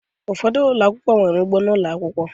Ụfọdụ ụlọ akwụkwọ, nwere ugbo ụlọ akwụkwọ